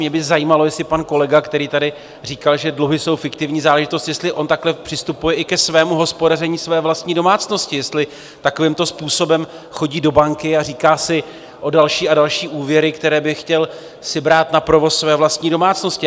Mě by zajímalo, jestli pan kolega, který tady říkal, že dluhy jsou fiktivní záležitost, jestli on takhle přistupuje i ke svému hospodaření své vlastní domácnosti, jestli takovýmto způsobem chodí do banky a říká si o další a další úvěry, které by si chtěl brát na provoz své vlastní domácnosti.